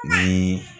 Ni